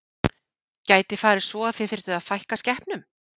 Gæti farið svo að þið þyrftuð að fækka skepnum?